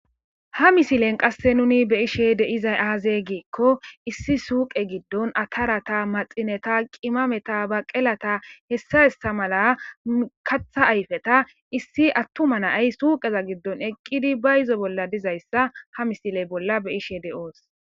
Ha misilen qasse nuni beyishe deizay aaze giikko issi suuqe giddon atarata maxineta qimameta ba qelata hessahessa mala katha ayfeta issi attuma nay suuqeza giddon eqqidi ba izo bolla dizayssa ha misiley bolla beyishe de'oos.